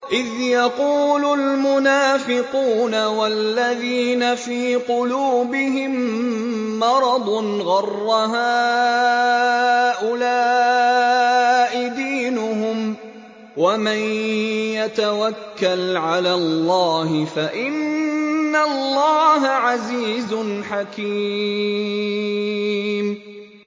إِذْ يَقُولُ الْمُنَافِقُونَ وَالَّذِينَ فِي قُلُوبِهِم مَّرَضٌ غَرَّ هَٰؤُلَاءِ دِينُهُمْ ۗ وَمَن يَتَوَكَّلْ عَلَى اللَّهِ فَإِنَّ اللَّهَ عَزِيزٌ حَكِيمٌ